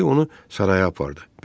Dəyənəkli onu saraya apardı.